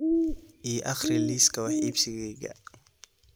ii akhri liiska wax iibsigayga